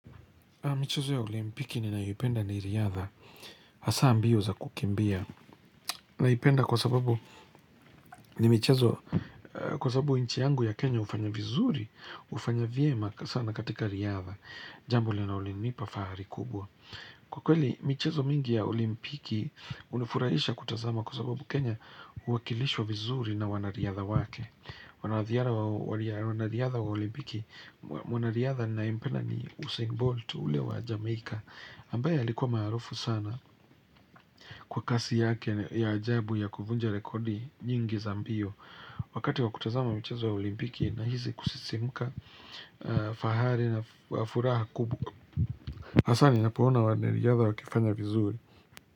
Michezo ya olimpiki ninayoipenda ni riadha. Hasa mbio za kukimbia. Naipenda kwa sababu ni michezo, kwa sababu nchi yangu ya Kenya hufanya vizuri, hufanya vyema sana katika riadha. Jambo linalolinipa fahari kubwa. Kwa kweli, michezo mingi ya olimpiki hunifurahisha kutazama kwa sababu Kenya huakilishwa vizuri na wanariadha wake. Wanariadha, wanariadha wa olimpiki. Mwanariadha ninayempenda ni Usain Bolt ule wa Jamaica. Ambaye alikuwa maarufu sana kwa kasi yake ya ajabu ya kuvunja rekodi nyingi za mbio. Wakati wa kutazama michezo ya olimpiki nahisi kusisimka fahari na furaha kubwa. Hasa ninapoona wanariadha wakifanya vizuri.